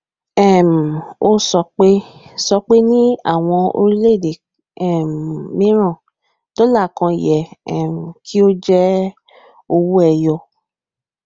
um o sọpe sọpe ni àwọn orílẹ èdè um miran dola kàn yẹ um kí o je owó ẹyọ